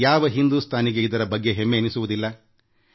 ಯಾವ ಭಾರತೀಯನಿಗೆ ಇದರ ಬಗ್ಗೆ ಹೆಮ್ಮೆ ಎನ್ನಿಸುವುದಿಲ್ಲ ಹೇಳಿ